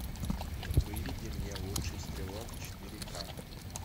выведи мне лучший стрелок четыре ка